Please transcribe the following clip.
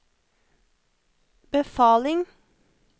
befaling